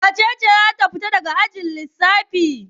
Wace ce za ta fita daga ajin lissafi?